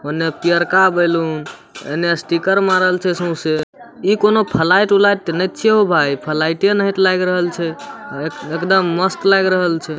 औने पियरका बैलून एने स्टिकर मारल छै सोसे इ कोनो फ्लैट उलेट के ते नय छीये हो भाय फ्लैट ही लग रहल छे एकदम मस्त लएग रहल छै।